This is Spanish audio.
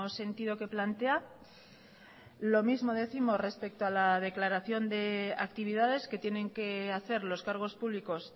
sentido que plantea lo mismo décimos respecto a la declaración de actividades que tienen que hacer los cargos públicos